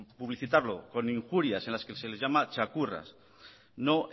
publicitarlo con injurias en las que se les llama txakurras no